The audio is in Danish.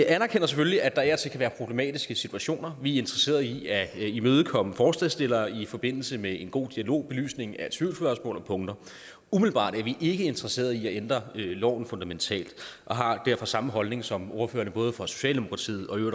anerkender selvfølgelig at der af og til kan være problematiske situationer vi er interesseret i at imødekomme forslagsstillerne i forbindelse med en god dialog og belysning af tvivlsspørgsmål om punkter umiddelbart er vi ikke interesseret i at ændre loven fundamentalt og har derfor samme holdning som ordførerne både fra socialdemokratiet og